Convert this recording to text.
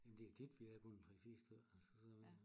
Jamen det er tit vi er kun en 3 4 stykker altså så